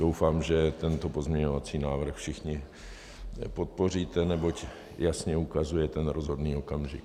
Doufám, že tento pozměňovací návrh všichni podpoříte, neboť jasně ukazuje ten rozhodný okamžik.